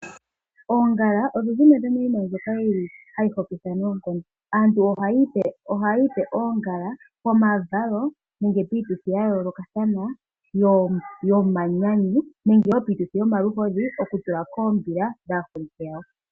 Oongala odho dhimwe dhomiinima mbyoka hayi hokitha noonkondo. Aantu ohaya ipe oongala pomavalo nenge piituthi ya yoolokathana yomanyanyu nenge piituthi yomaluhodhi okutula koombila dhaaholike yawo.